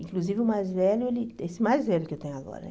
Inclusive o mais velho, ele esse mais velho que eu tenho agora, né?